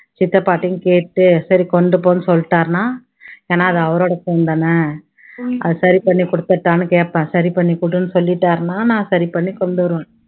சித்தப்பாட்டையும் கேட்டு சரி கொண்டுபோன்னு சொல்லிட்டாருன்னா ஏன்னா அது அவரோட phone தானே அதை சரி பண்ணி கொடுத்துடட்டான்னு கேப்பேன் சரி பண்ணி கொடுன்னு சொல்லிட்டாருன்னா நான் சரி பண்ணி கொண்டு வருவேன்.